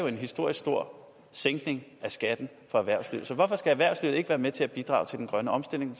en historisk stor sænkning af skatten for erhvervslivet så hvorfor skal erhvervslivet ikke være med til at bidrage til den grønne omstilling